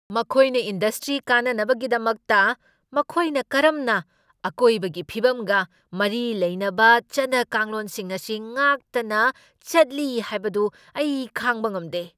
ꯃꯈꯣꯏꯅ ꯏꯟꯗꯁꯇ꯭ꯔꯤ ꯀꯥꯟꯅꯅꯕꯒꯤꯗꯃꯛꯇ ꯃꯈꯣꯏꯅ ꯀꯔꯝꯅ ꯑꯀꯣꯏꯕꯒꯤ ꯐꯤꯚꯝꯒ ꯃꯔꯤ ꯂꯩꯅꯕ ꯆꯠꯅ ꯀꯥꯡꯂꯣꯟꯁꯤꯡ ꯑꯁꯤ ꯉꯥꯛꯇꯅ ꯆꯠꯂꯤ ꯍꯥꯏꯕꯗꯨ ꯑꯩ ꯈꯥꯡꯕ ꯉꯝꯗꯦ꯫